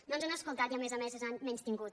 no ens han escoltat i a més a més ens han menystingut